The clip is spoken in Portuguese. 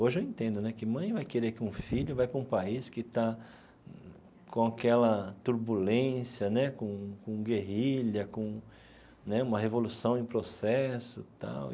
Hoje eu entendo né que mãe num vai querer que um filho vai para um país que está com aquela turbulência né, com com guerrilha, com né uma revolução em processo tal.